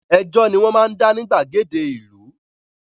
Ẹjọ́ ni wọ́n máa ń dá ní gbàgede ìlú